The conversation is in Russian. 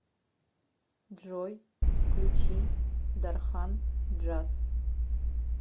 джой включи дархан джаз